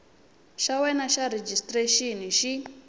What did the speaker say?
xa wena xa rejistrexini xi